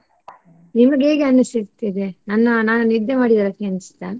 ನಿಮ್ಗೆ ಹೇಗೆ ಅನ್ನಿಸುತ್ತಿದೆ ನನ್ನ ನಾ ನಿದ್ದೆ ಮಾಡಿದ ಲೆಕ್ಕ ಅನ್ನಿಸ್ತಾ?